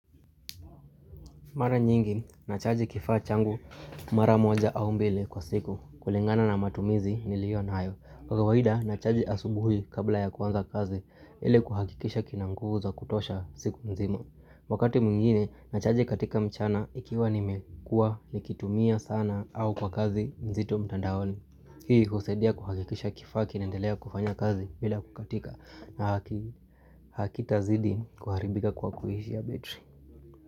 Mara nyingi, nachaji kifaa changu mara moja au mbili kwa siku kulingana na matumizi ni liyo nayo. Kwa kawahida, nachaji asubuhi kabla ya kwanza kazi, ile kuhakikisha kinanguvu za kutosha siku mzima. Wakati mwingine, nachaji katika mchana ikiwa nime kuwa nikitumia sana au kwa kazi mzito mtandaoni. Hii kusaidia kuhakikisha kifaa kinaendelea kufanya kazi bila kukatika na hakita zidi kuharibika kwa kuhishi ya betri.